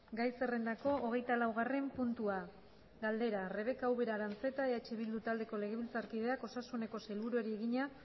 gai zerrendako hogeita laugarren puntua galdera rebeka ubera aranzeta eh bildu taldeko legebiltzarkideak osasuneko sailburuari egina